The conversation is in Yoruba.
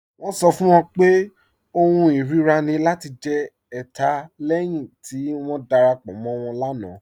Wọn sọ fún wọn pé ọ̀hùn irira ni lati jẹ̀ ẹ̀tà lẹ́hin ti wọn darapọ̀ mọ̀ wọn láńà.